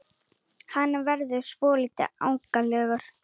Hann verður svolítið ágengari.